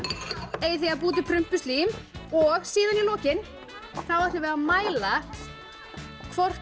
eigið þið að búa til prumpuslím og í lokin ætlum við að mæla hvort